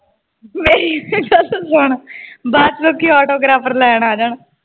ਮੇਰੀ ਗੱਲ ਤੇ ਸੁਣ ਬਾਅਦ ਚ ਲੋਕੀ autographer ਲੈਣ ਆ ਜਾਣ।